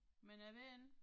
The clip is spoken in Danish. Men jeg ved ikke